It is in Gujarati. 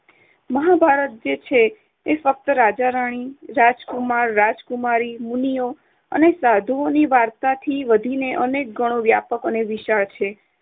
મહાભારત જે છે તે ફક્ત રાજા-રાણી, રાજકુમાર-રાજકુમારી, મુનિઓ અને સાધુઓની વાર્તાથી વધીને અનેક ગણો વ્યાપક અને વિશાળ છે